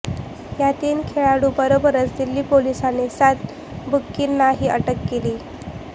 या तीन खेळाडूंबरोबरच दिल्ली पोलिसांनी सात बुकींनाही अटक केली